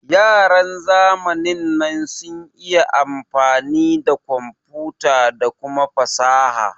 Yaran zamanin nan sun iya amfani da komfuta da kuma fasaha